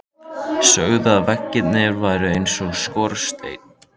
Sögðu að veggirnir væru eins og skorsteinn.